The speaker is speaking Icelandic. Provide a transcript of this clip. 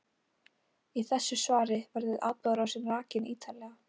Í þessu svari verður atburðarásin rakin ítarlega.